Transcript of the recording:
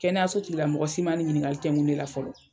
Kɛnɛyaso tigila mɔgɔ si ma nin ɲiniŋali tɛŋu ne la fɔlɔ.